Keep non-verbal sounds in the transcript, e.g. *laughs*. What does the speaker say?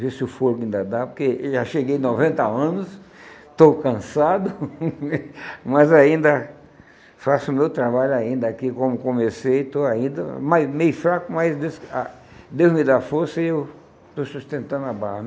ver se o fôlego ainda dá, porque eu já cheguei a noventa anos, estou cansado, *laughs* mas ainda faço o meu trabalho ainda aqui, como comecei, estou ainda mas meio fraco, mas Deus ah Deus me dá força e eu estou sustentando a barra.